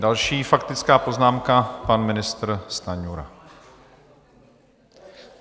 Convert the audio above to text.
Další faktická poznámka pan ministr Stanjura.